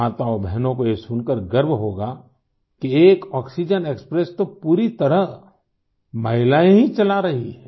माताओंबहनों को ये सुनकर गर्व होगा कि एक आक्सीजेन एक्सप्रेस तो पूरी तरह महिलाएँ ही चला रही हैं